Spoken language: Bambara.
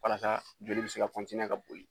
Walasa joli be se ka ka boli.